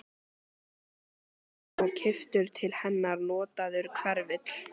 Bjarnarflagi og keyptur til hennar notaður hverfill.